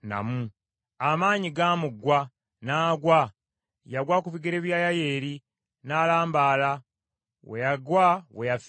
Amaanyi gaamuggwa n’agwa; yagwa ku bigere bya Yayeeri n’alambaala we yagwa we yafiira.